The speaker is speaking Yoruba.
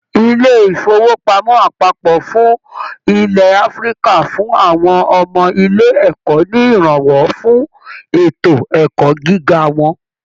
Ilé ifowopamọ àpapọ fún ilẹ Áfíríkà fún àwọn ọmọ ilé ẹkọ ní iranwọ fún ètò ẹkọ gíga wọn.